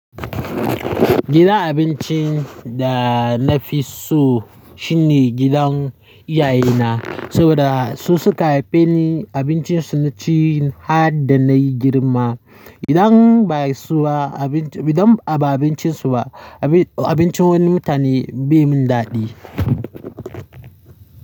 Gidan abincin da na fi so shine gidan iyayena saboda su suka haife ni, abincin su na ci har da na yi girma. Idan ba su ba abinci, idan ba abincin su ba, abin, abincin wani mutane bai mun daɗi.